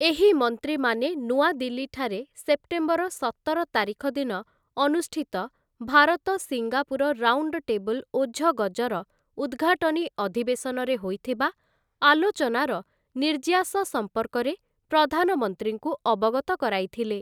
ଏହି ମନ୍ତ୍ରୀମାନେ ନୂଆଦିଲ୍ଲୀଠାରେ ସେପ୍ଟେମ୍ବର ସତର ତାରିଖ ଦିନ ଅନୁଷ୍ଠିତ ଭାରତ ସିଙ୍ଗାପୁର ରାଉଣ୍ଡଟେବୁଲ ଓଝଗଜର ଉଦ୍‌ଘାଟନୀ ଅଧିବେଶନରେ ହୋଇଥିବା ଆଲୋଚନାର ନିର୍ଯ୍ୟାସ ସଂପର୍କରେ ପ୍ରଧାନମନ୍ତ୍ରୀଙ୍କୁ ଅବଗତ କରାଇଥିଲେ ।